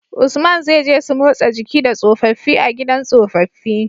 Usman zai je su motsa jiki da tsofafi a gidan tsofafi